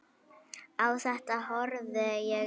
Á þetta horfði ég, Einar